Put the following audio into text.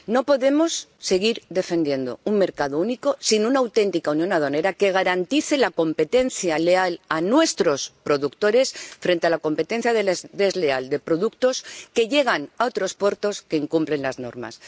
No podemos seguir defendiendo un mercado único sin una auténtica unión aduanera que garantice la competencia leal a nuestros productores frente a la competencia desleal de productos que llegan a otros puertos que incumplen las normas.